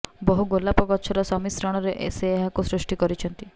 ବହୁ ଗୋଲାପ ଗଛର ସମିଶ୍ରଣରେ ସେ ଏହାକୁ ସୃଷ୍ଟି କରିଛନ୍ତି